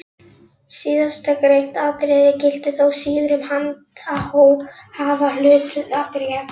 Síðastgreint atriði gildir þó síður um handhafahlutabréf.